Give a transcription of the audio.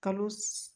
Kalo